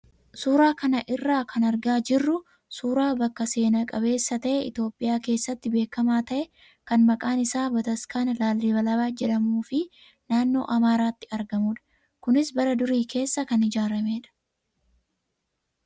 Suuraa kana irraa kan argaa jirru suuraa bakka seena qabeessa ta'ee Itoophiyaa keessatti beekamaa ta'e kan maqaan isaa Bataskana Laallibalaa jedhamuu fi naannoo Amaaraatti argamudha. Kunis bara durii keessa kan ijaaramedha.